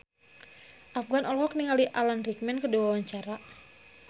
Afgan olohok ningali Alan Rickman keur diwawancara